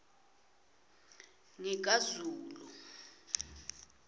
ngikazulu